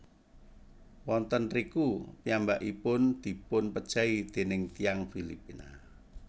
Wonten riku piyambakipun dipunpejahi déning tiyang Filipina